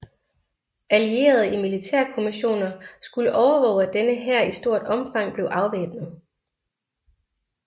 Allierede militærkommissioner skulle overvåge at denne hær i stort omfang blev afvæbnet